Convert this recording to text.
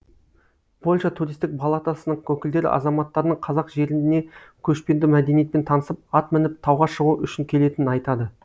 польша туристік палатасының өкілдері азаматтарының қазақ жеріне көшпенді мәдениетпен танысып ат мініп тауға шығу үшін келетінін айтады